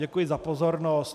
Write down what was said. Děkuji za pozornost.